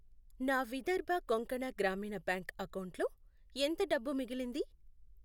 నా విదర్భ కొంకణ గ్రామీణ బ్యాంక్ అకౌంటులో ఎంత డబ్బు మిగిలింది?